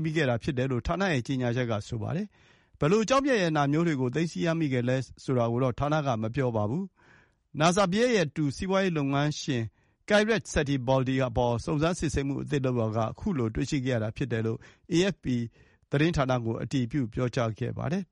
မိခဲ့တာဖြစ်တယ်လို့ ဌာနရဲ့ကြေညာချက်က ဆိုပါတယ်။ ဘယ်လို ကျောက်မျက်ရတနာမျိုးတွေကို သိမ်းဆည်းရမိခဲ့သလဲဆိုတာကိုတော့ ဌာနက မပြောပါဘူး။ နာဇာဘယက်ရဲ့တူတော်သူ စီးပွါးရေးလုပ်ငန်းရှင် Kairat Satybaldy (ကိုင်ရတ် စက်တီဘော်ဒီ) အပေါ် စုံစမ်းစစ်ဆေးမှုအသစ်လုပ်ရာက ခုလိုတွေ့ရှိခဲ့တာ ဖြစ်တယ်လို့ AFP သတင်းဌာနကို အတည်ပြု ပြောကြားပါတယ်။